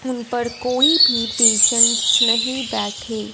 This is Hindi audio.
उन पर कोई भी पेशेंट्स नहीं बैठे।